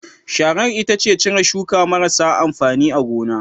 Sharar ita ce cire shuka marasa amfani a gona